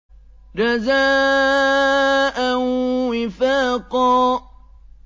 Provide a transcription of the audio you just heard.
جَزَاءً وِفَاقًا